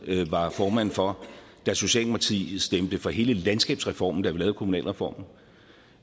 var formand for da socialdemokratiet stemte for hele landskabsreformen da vi lavede kommunalreformen